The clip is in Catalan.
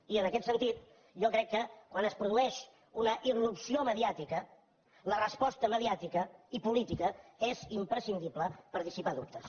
i en aquest sentit jo crec que quan es produeix una irrupció mediàtica la resposta mediàtica i política és imprescindible per dissipar dubtes